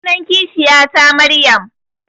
Sunan kishiya ta Maryam